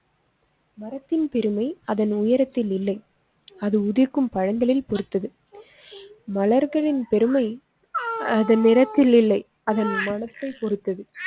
மரத்தின் பெருமை அதன் உயரத்தில் இல்லை. அது உதிர்க்கும் பழங்களில் பொறுத்தது மலர்களின் பெருமைஅதன் நிறத்தில் இல்லை. அதன் மனத்தைப் பொறுத்தது.